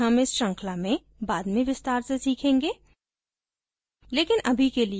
इनके बारे में हम इस श्रृंखला में बाद में विस्तार से सीखेंगे